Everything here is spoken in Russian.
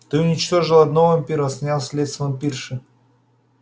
ты уничтожил одного вампира снял след с вампирши